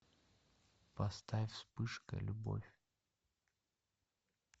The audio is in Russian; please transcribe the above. поставь вспышка любовь